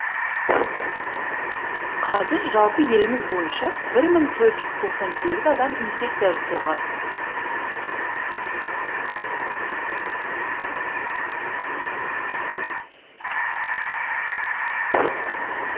қазір жалпы еліміз бойынша бір мың төрт жүз тоқсан сегіз адам инфекция жұқтырған